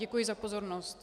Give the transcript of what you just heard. Děkuji za pozornost.